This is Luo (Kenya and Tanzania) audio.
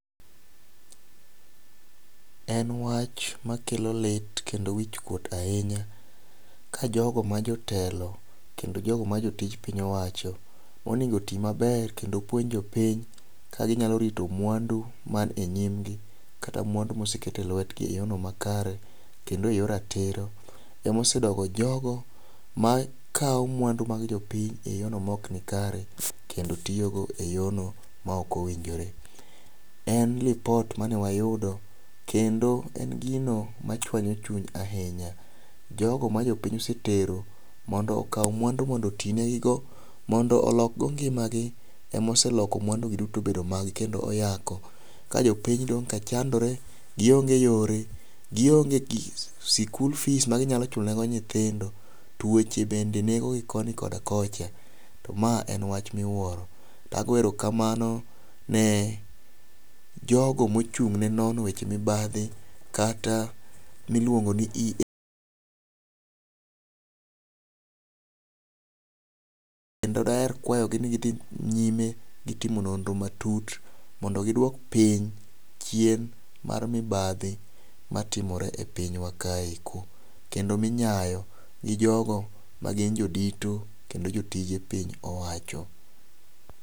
En wach makelo lit kendo wich kuot ahinya ka jogo ma jotelo kendo jogo ma jotij piny owacho monego tii maber kendo puonj jopiny ka ginyalo rito mwandu man e nyim gi kata mwandu moseket e lwetgi e yorno makare kendo eyor ratiro emosedoko jogo makawo mwandu mag jopiny e yor no ma ok nikare kendo tiyo go eyor no ma ok owinjore. En lipot mane wayudo kendo en gino ma chwanyo chuny ahinya . Jogo ma jopiny osetero mondo okaw mwandu mondo otii ne gigo mondo olok go ngimagi emoseloko mwandu gi duto kendo yako ka jopiny dong ' ka chandore gionge yore gionge gik sikul fees ma ginyalo chulo ne go nyithindo tuoche bende nego gi koni koda kocha, to ma en wach miwuoro. Ago erokamano ne jogo mochung' ne nono weche mibadhi kata miluongo ni EACC kendo daher kwayo gi ni gidhi nyime gi timo nonro matut mondo giduok piny chien mar mibadhi matimore e pinywa kaeko kendo minyayo gi jogo magin jodito kendo jotije piny owacho.